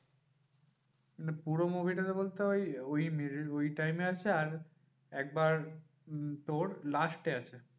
পুরো movie টা তে বলতে ওই ওই middle ওই time এ আছে আর একবার উম তোর last এ আছে।